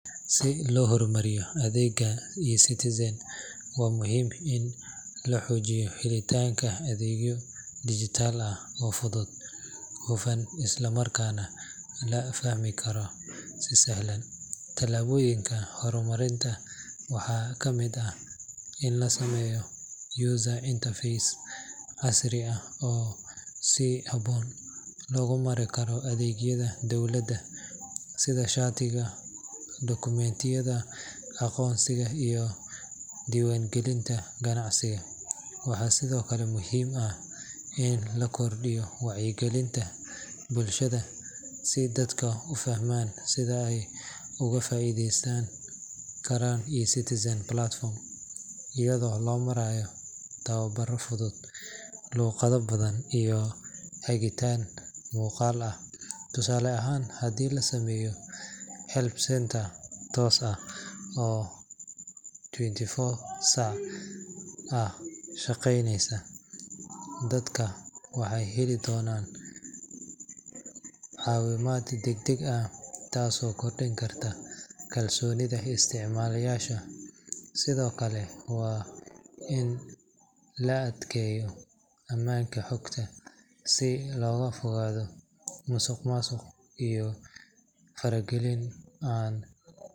Si loo horumariyo adeegga eCitizen, waa muhiim in la xoojiyo helitaanka adeegyo dijitaal ah oo fudud, hufan, isla markaana la fahmi karo si sahlan. Tallaabooyinka horumarinta waxaa ka mid ah in la sameeyo user interface casri ah oo si habboon loogu mari karo adeegyada dowladda sida shatiyada, dukumiintiyada aqoonsiga, iyo diiwaangelinta ganacsiga. Waxaa sidoo kale muhiim ah in la kordhiyo wacyigelinta bulshada si dadku u fahmaan sida ay uga faa’iideysan karaan eCitizen platform, iyadoo loo marayo tababaro fudud, luuqado badan iyo hagitaan muuqaal ah. Tusaale ahaan, haddii la sameeyo help center toos ah oo twenty four saac ah shaqeynaya, dadka waxay heli doonaan caawimaad degdeg ah, taasoo kordhin karta kalsoonida isticmaalayaasha. Sidoo kale, waa in la adkeeyo amaanka xogta si looga fogaado musuqmaasuq iyo faragelin aan.